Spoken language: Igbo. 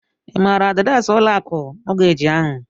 Ị ma adịreesị ụlọ akụ mọọgeeji ahụ?